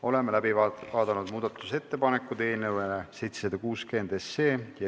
Oleme läbi vaadanud eelnõu 760 muudatusettepanekud.